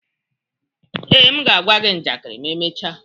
Ee, m ga-agwa gị njakịrị ma emechaa.